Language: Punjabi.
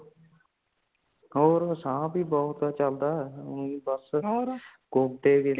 ਹੋਰ ਸਾਹ ਹੀ ਬਹੁਤ ਚੜਦਾ ਉਹੀ ਬਸ